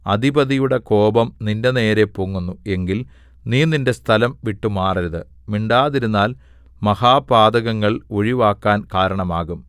അധിപതിയുടെ കോപം നിന്റെനേരെ പൊങ്ങുന്നു എങ്കിൽ നീ നിന്റെ സ്ഥലം വിട്ടുമാറരുത് മിണ്ടാതിരുന്നാല്‍ മഹാപാതകങ്ങൾ ഒഴിവാക്കാൻ കാരണമാകും